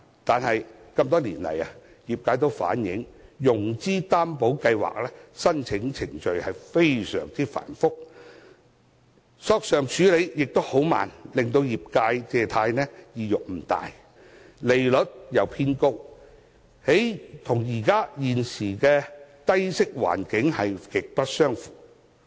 可是，多年來業界均反映，中小企融資擔保計劃申請程序非常繁複，索償處理亦很緩慢，令業界借貸意欲不大，況且計劃的利率偏高，與現時的低息環境極不相符。